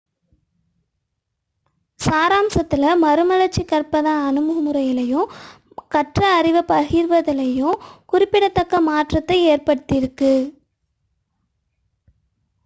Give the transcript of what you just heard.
சாராம்சத்தில் மறுமலர்ச்சி கற்பதன் அணுகுமுறையிலும் கற்ற அறிவைப் பரப்புவதிலும் குறிப்பிடத்தக்க மாற்றத்தை ஏற்படுத்தியுள்ளது